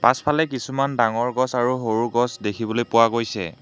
পাছফালে কিছুমান ডাঙৰ গছ আৰু সৰু গছ দেখিবলৈ পোৱা গৈছে।